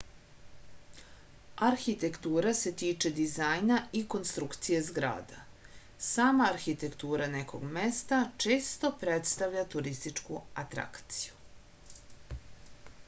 arhitektura se tiče dizajna i konstrukcije zgrada sama arhitektura nekog mesta često predstavlja turističku atrakciju